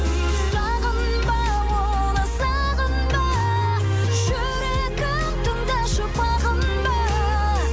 сағынба оны сағынба жүрегім тыңдашы бағынба